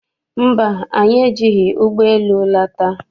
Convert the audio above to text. Mba, anyị ejighị ụgbọ elu lata.